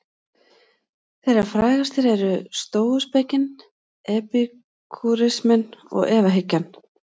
Þeirra frægastar eru stóuspekin, epikúrisminn og efahyggjan.